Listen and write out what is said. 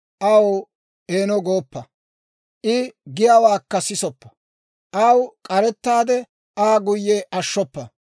aw eeno gooppa; I giyaawaakka sisoppa. Aw k'arettaade Aa guyye ashshoppa;